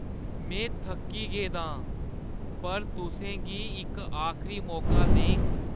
में थक्की गेदा आं पर तुसें गी इक आखरी मौका देङ।